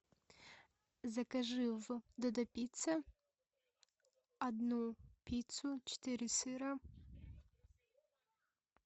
закажи в додо пицца одну пиццу четыре сыра